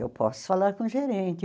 Eu posso falar com o gerente.